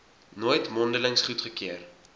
nooit mondelings goedgekeur